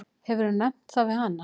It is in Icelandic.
Hefurðu nefnt það við hana?